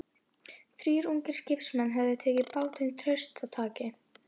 Þrír ungir skipsmenn höfðu tekið bátinn traustataki.